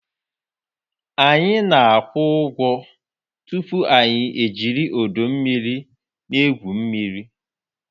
Anyị na-akwụ ụgwọ tupu anyị ejiri ọdọ mmiri na-egwu mmiri